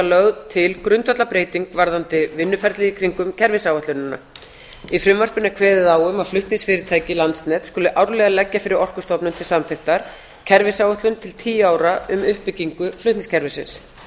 lögð til grundvallarbreyting varðandi vinnuferlið í kringum kerfisáætlun í frumvarpinu er kveðið á um að flutningsfyrirtæki landsnets skuli árlega leggja fyrir orkustofnun til samþykktar kerfisáætlun til tíu ára um uppbyggingu flutningskerfisins